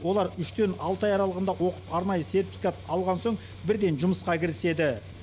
олар үштен алты ай аралығында оқып арнайы сертификат алған соң бірден жұмысқа кіріседі